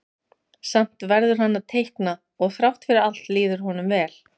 Samt verður hann að teikna og þrátt fyrir allt líður honum vel.